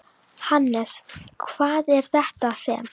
Hannes, hvað er þetta sem?